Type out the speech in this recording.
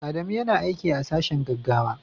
Adamu yana aiki a sashen gaggawa.